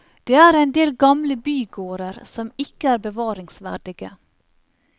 Det er en del gamle bygårder som ikke er bevaringsverdige.